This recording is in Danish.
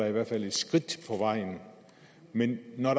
i hvert fald et skridt på vejen men når